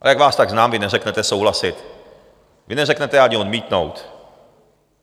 A jak vás tak znám, vy neřeknete souhlasit, vy neřeknete ani odmítnout.